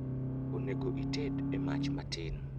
Onego ited e mach matin